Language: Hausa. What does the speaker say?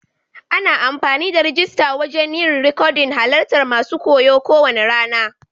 Ana amfani da rijista wajen yin rikodin halarta masun koyo ko wane rana.